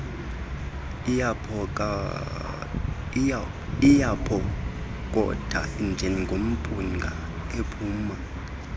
iyaphokoka njengomphunga ophuma